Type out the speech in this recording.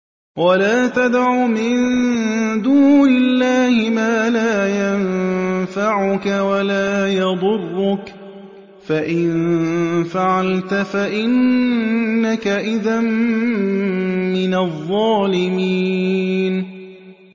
وَلَا تَدْعُ مِن دُونِ اللَّهِ مَا لَا يَنفَعُكَ وَلَا يَضُرُّكَ ۖ فَإِن فَعَلْتَ فَإِنَّكَ إِذًا مِّنَ الظَّالِمِينَ